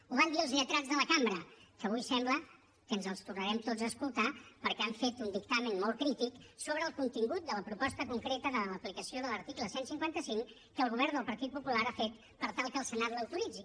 ho van dir els lletrats de la cambra que avui sembla que ens els tornarem tots a escoltar perquè han fet un dictamen molt crític sobre el contingut de la proposta concreta de l’aplicació de l’article cent i cinquanta cinc que el govern del partit popular ha fet per tal que el senat l’autoritzi